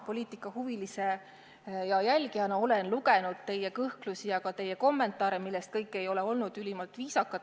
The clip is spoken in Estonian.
Poliitikahuvilise ja poliitika jälgijana olen ma lugenud teie kõhklusi ja teie kommentaare, millest kõik ei ole olnud ülimalt viisakad.